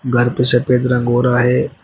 घर पे सफेद रंग हो रहा है।